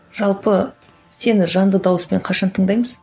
жалпы сені жанды дауыспен қашан тыңдаймыз